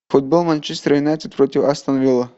футбол манчестер юнайтед против астон вилла